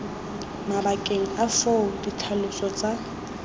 mabakeng a foo ditlhaloso tsa